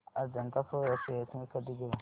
Ajanta soya shares मी कधी घेऊ